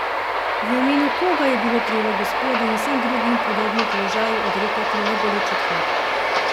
V imenu koga je bilo treba gospodu in vsem drugim v podobnem položaju odrekati neboleč odhod?